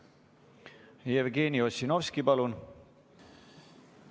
Jevgeni Ossinovski, palun!